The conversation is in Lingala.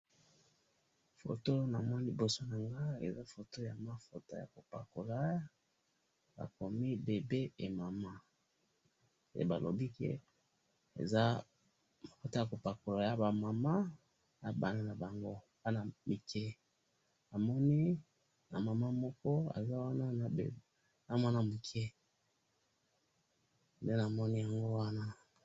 photo namoni liboso nangai, eza photo ya mafuta ya kopakola bakomi bebe et maman, et balobi ke eza mafuta yakopakola yaba maman na bana na bango, bana mike, namoni na maman moko aza wana na muana muke, ngai namoni yango wana